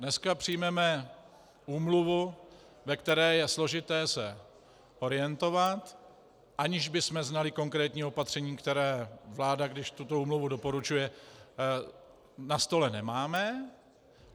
Dneska přijmeme úmluvu, ve které je složité se orientovat, aniž bychom znali konkrétní opatření, které vláda, když tuto úmluvu doporučuje... na stole nemáme.